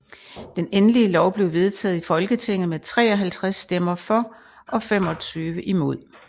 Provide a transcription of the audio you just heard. Den endelige lov blev vedtaget i Folketinget med 53 stemmer for og 25 imod